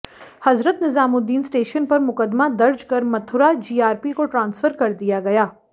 हजरत Nizamuddin station पर मुकदमा दर्ज कर मथुरा जीआरपी को ट्रांसफर कर दिया गया